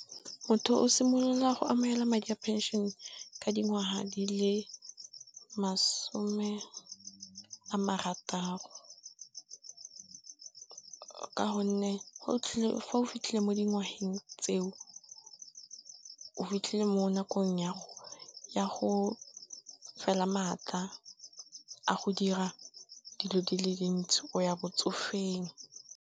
Motho o simolola go amogela madi a pension ka dingwaga di le masome a marataro. Ka gonne, fa o fitlhile mo dingwageng tseo o fitlhile mo nakong ya go fela maaka a go dira dilo dile dintsi o ya botsofeng.